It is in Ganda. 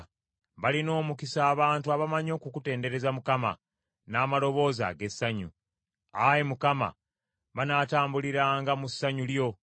Balina omukisa abantu abamanyi okukutendereza Mukama n’amaloboozi ag’essanyu; Ayi Mukama , banaatambuliranga mu ssanyu lyo.